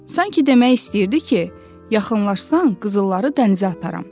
Sanki demək istəyirdi ki, yaxınlaşsan qızılları dənizə ataram.